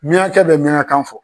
Miɲankakɛ bɛ miɲankakan fɔ.